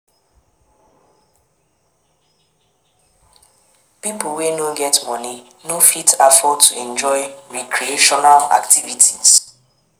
Pipo wey no get money no fit afford to enjoy recreational activities